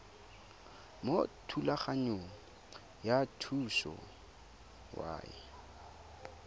mo thulaganyong ya thuso y